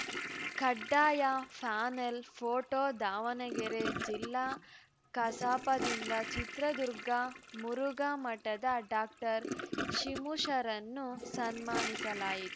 ಕಡ್ಡಾಯ panel photo Davanagere ಜಿಲ್ಲಾ ಕಸಾಪದಿಂದ ಚಿತ್ರದುರ್ಗ ಮುರುಘಾ ಮಠದ ಡಾಶಿಮುಶರನ್ನು ಸನ್ಮಾನಿಸಲಾಯಿತು